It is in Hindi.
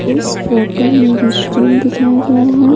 इस फोटो में रेस्टोरेंट दिखाया गया है।